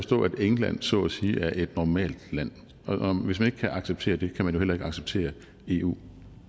england så at sige er et normalt land og hvis man ikke kan acceptere det kan man jo heller ikke acceptere eu